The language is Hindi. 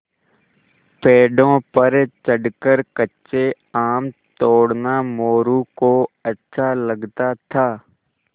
पेड़ों पर चढ़कर कच्चे आम तोड़ना मोरू को अच्छा लगता था